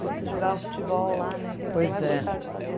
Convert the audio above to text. Quando você jogava futebol lá né, pois é, que era o que você mais gostava de fazer.